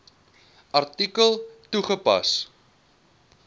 artikel toegepas